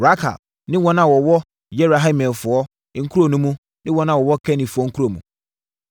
Rakal ne wɔn a wɔwɔ Yerahmeelfoɔ nkuro mu ne wɔn a wɔwɔ Kenifoɔ kuro mu,